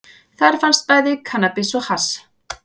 Þar fannst bæði kannabis og hass